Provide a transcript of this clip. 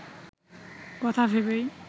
কথা ভেবেই